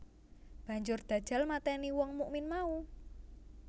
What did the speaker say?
Banjur Dajjal matèni wong mukmin mau